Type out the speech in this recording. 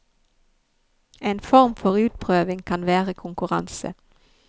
En form for utprøving kan være konkurranse.